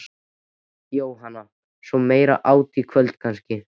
Jóhanna: Og svo meira át í kvöld kannski?